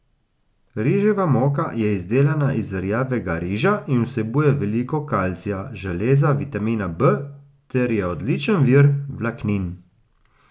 Riževa moka je izdelana iz rjavega riža in vsebuje veliko kalcija, železa, vitamina B ter je odličen vir vlaknin.